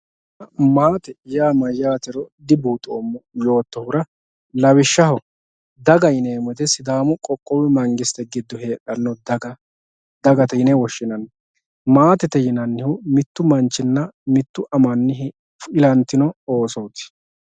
maate yaa mayaatero dibuuxoomo yootohura lawishshaho dagate yineemoti sidaamu qoqqowu mangiste giddo heedhanno daga dagate yine woshshinanni maatete yinannihu mittu manchinna mitte amani ilantino oosooti.